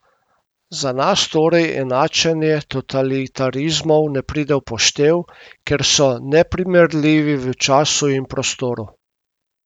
Za nas torej enačenje totalitarizmov ne pride v poštev, ker so neprimerljivi v času in prostoru.